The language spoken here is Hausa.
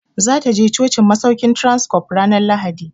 Za ta je cocin masaukin Transcorp ranar Lahadi.